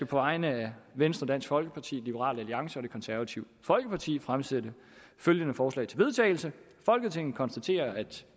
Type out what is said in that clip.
på vegne af venstre dansk folkeparti liberal alliance og det konservative folkeparti fremsætte følgende forslag til vedtagelse folketinget konstaterer at